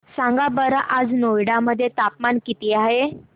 सांगा बरं आज नोएडा मध्ये तापमान किती आहे